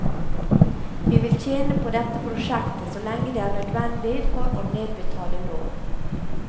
Vi vil tjene på dette prosjektet så lenge det er nødvendig for å nedbetale lån.